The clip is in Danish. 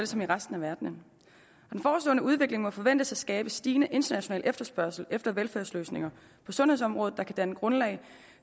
som resten af verden den forestående udvikling må forventes at skabe stigende international efterspørgsel efter velfærdsløsninger på sundhedsområdet der kan danne grundlag